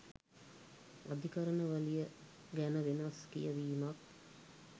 අධිකරණ වලිය ගැන වෙනස් කියවීමක්